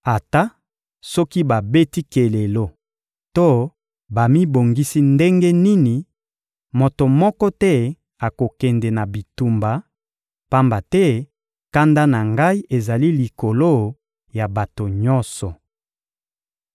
Ata soki babeti kelelo to bamibongisi ndenge nini, moto moko te akokende na bitumba; pamba te kanda na Ngai ezali likolo ya bato nyonso.